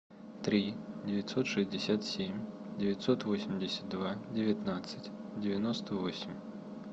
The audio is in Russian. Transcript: три девятьсот шестьдесят семь девятьсот восемьдесят два девятнадцать девяносто восемь